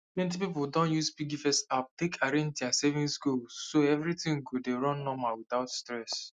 plenty people don use piggyvest app take arrange their saving goal so everything go dey run normal without stress